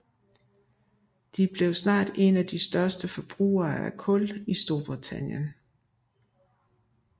De blev snart en af de største forbrugere af kul i Storbritannien